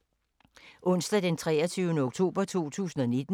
Onsdag d. 23. oktober 2019